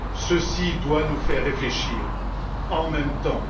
Ceci doit nous faire réfléchir en même temps.